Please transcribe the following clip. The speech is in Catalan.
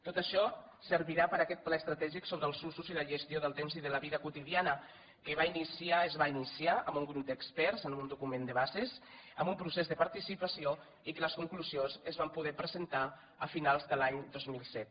tot això servirà per a aquest pla estratègic sobre els usos i la gestió del temps i de la vida quotidiana que es va iniciar amb un grup d’experts amb un document de bases amb un procés de participació i que les conclusions es van poder presentar a finals de l’any dos mil set